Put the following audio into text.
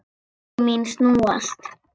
Og augu mín snúast.